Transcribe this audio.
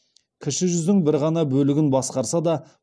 кіші жүздің бір ғана бөлігін басқарса да